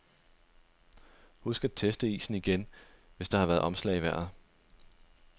Husk at teste isen igen, hvis der har været omslag i vejret.